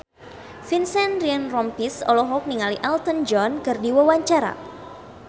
Vincent Ryan Rompies olohok ningali Elton John keur diwawancara